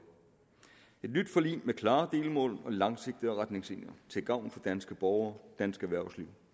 et nyt forlig med klare delmål og langsigtede retningslinjer til gavn for danske borgere dansk erhvervsliv